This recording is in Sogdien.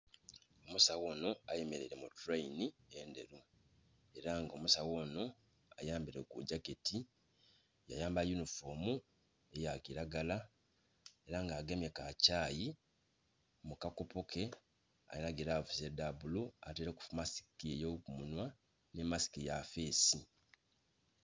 Omusawo onho ayemeleile mu tuleyini endheru, ela nga omusawo onho ayambaile gu gyaketi, ya yambala yunifoomu eya kilagala ela nga agemye ka kyaayi mu kakopo ke alinha gilavusi edha bbulu ataileku masiki ey'okumunhwa nhi masiki ya face.